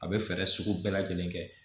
A bɛ fɛɛrɛ sugu bɛɛ lajɛlen kɛ